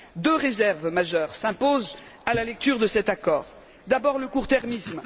Deux réserves majeures s'imposent à la lecture de cet accord d'abord, le court termisme.